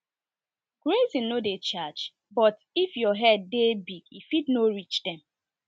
grazing no dey charge but if your herd dey big e fit no reach dem